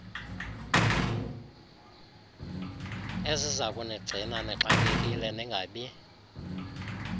ezizakunigcina nixakekile ningabi